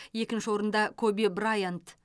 екінші орында коби брайант